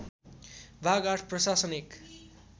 भाग ८ प्रशासन १